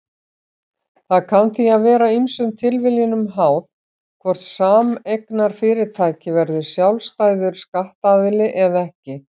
Það kann því að vera ýmsum tilviljunum háð hvort sameignarfyrirtæki verður sjálfstæður skattaðili eða ekki.